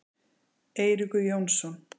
Eiríkur Jónsson.